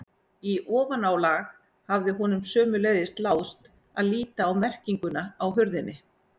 Í ofanálag hafði honum sömuleiðis láðst að líta á merkinguna á hurðinni.